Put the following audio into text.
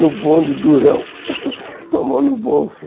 no bonde durão, com a mão no bolso.